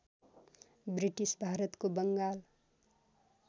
British भारतको बङ्गाल